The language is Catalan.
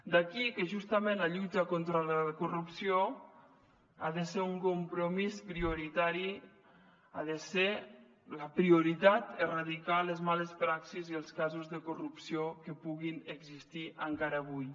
d’aquí que justament la lluita contra la corrupció ha de ser un compromís prioritari ha de ser la prioritat erradicar les males praxis i els casos de corrupció que puguin existir encara avui